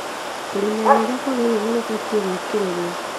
kũrĩmĩra rĩrĩa kũagĩrĩĩre nĩ kũbatĩĩ gũĩkĩrĩrũo